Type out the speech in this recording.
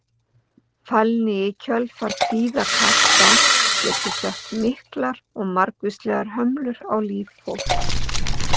Fælni í kjölfar kvíðakasta getur sett miklar og margvíslegar hömlur á líf fólks.